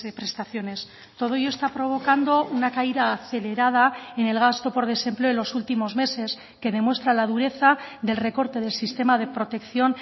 prestaciones todo ello está provocando una caída acelerada en el gasto por desempleo en los últimos meses que demuestra la dureza del recorte del sistema de protección